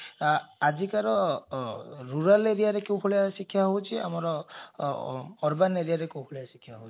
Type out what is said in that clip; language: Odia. ଆଜିକାର rural area କୋଉଭଳିଆ ଶିକ୍ଷା ହଉଛି ଆମର urban area ରେ କୋଉଭଳିଆ ଶିକ୍ଷା ହଉଛି